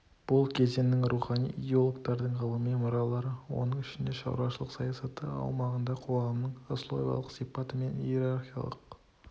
бұл кезеңнің рухани идеологтарының ғылыми мұралары оның ішінде шаруашылық саясаты аумағында қоғамның сословиялық сипаты мен иерархиялық